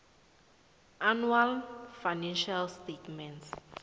annual financial statements